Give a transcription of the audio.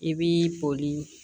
I b'i boli